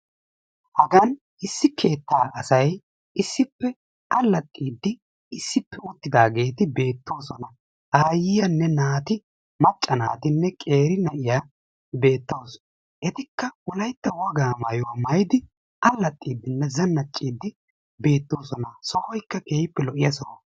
Haggan issi keetta asay issippe alaxiddi issippe uttidagetti beettosona. Ayiyanne naatti macca naattinne keeri na'yaa beettawussu. Ettikka wolaytta wogga maayuwaa maayiddi allaxiddinne zaanacciddi beettossona, sohoykka keehi lo"iyaa soho.